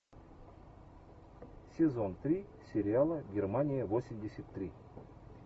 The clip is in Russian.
сезон три сериала германия восемьдесят три